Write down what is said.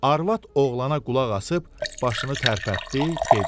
Arvad oğlana qulaqasıb başını tərpətdi, dedi: